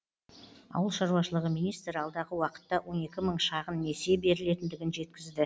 ауыл шаруашылығы министрі алдағы уақытта он екі мың шағын несие берілетіндігін жеткізді